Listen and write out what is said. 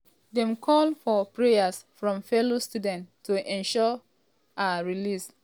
dem call for prayers from fellow students to ensure ensure her release.